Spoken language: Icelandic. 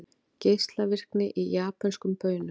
Geislavirkni í japönskum baunum